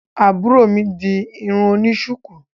Àbúrò mi di irun oni shuku,